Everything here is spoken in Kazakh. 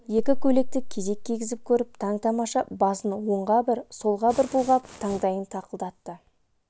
екі көйлекті кезек кигізіп көріп таң-тамаша басын оңға бір солға бір бұлғап таңдайын тақылдатты